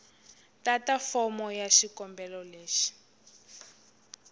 tata fomo ya xikombelo leyi